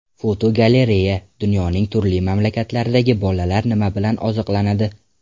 Fotogalereya: Dunyoning turli mamlakatlaridagi bolalar nima bilan oziqlanadi?.